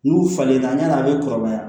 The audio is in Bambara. N'u falen na yan'a bɛ kɔrɔbaya